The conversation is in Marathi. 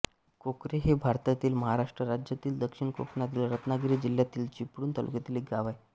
कोकरे हे भारतातील महाराष्ट्र राज्यातील दक्षिण कोकणातील रत्नागिरी जिल्ह्यातील चिपळूण तालुक्यातील एक गाव आहे